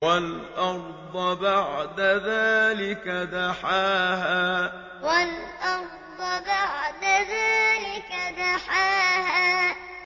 وَالْأَرْضَ بَعْدَ ذَٰلِكَ دَحَاهَا وَالْأَرْضَ بَعْدَ ذَٰلِكَ دَحَاهَا